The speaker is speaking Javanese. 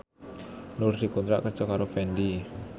Nur dikontrak kerja karo Fendi